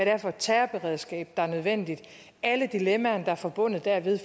er for et terrorberedskab der er nødvendigt og alle dilemmaerne der er forbundet dermed